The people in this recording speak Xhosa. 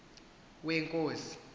wenkosi